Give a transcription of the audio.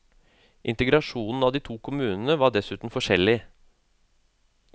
Integrasjonen av de to kommunene var dessuten forskjellig.